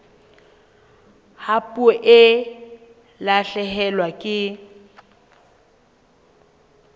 ha puo e lahlehelwa ke